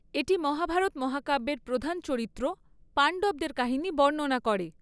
এটি মহাভারত মহাকাব্যের প্রধান চরিত্র পাণ্ডবদের কাহিনী বর্ণনা করে।